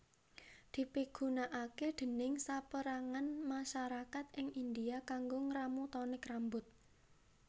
Dipigunakaké déning sapérangan masarakat ing India kanggo ngramu tonik rambut